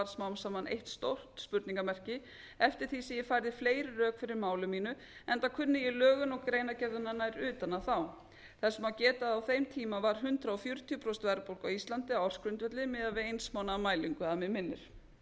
smá saman eitt spurningarmerki eftir því sem ég færði fleiri rök fyrir máli mínu enda kunni ég lögin og greinargerðina nær utan að þá þess má geta að á þeim tíma var hundrað fjörutíu prósent verðbólga á íslandi á ársgrundvelli miðað við eins mánaða mælingu að mig minnir að